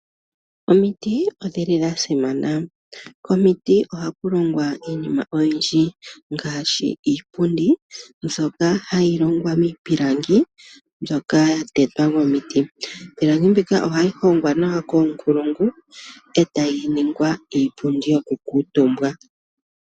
Omiti odhili dha simana, komiti oha kulongwa iinima oyindji ngaashi iipundi nzoka hayi longwa miipilangi mbyoka ya tetwa momiti. Iipilangi mbika ohayi hongwa nawa koonkulungu etayi ningwa iipundi yoku kuutumbwa.